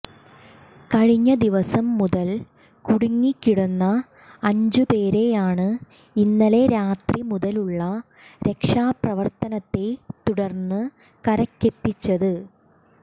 കഴിഞ്ഞ ദിവസം മുതൽ കുടുങ്ങി കിടന്ന അഞ്ച് പേരെയാണ് ഇന്നലെ രാത്രി മുതലുള്ള രക്ഷാപ്രവർത്തനത്തെ തുടർന്ന് കരക്കെത്തിച്ചത്